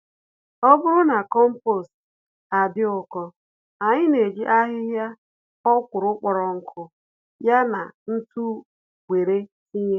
Ọbụrụ na kompost adị ụkọ, anyị n'eji ahịhịa ọkwụrụ kpọrọ nkụ, ya na ntụ wéré tinye